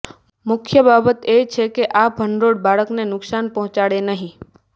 મુખ્ય બાબત એ છે કે આ ભંડોળ બાળકને નુકસાન પહોંચાડે નહીં